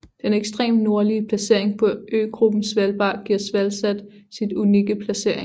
Den ekstreme nordlige placering på øgruppen Svalbard giver SvalSat sin unikke placering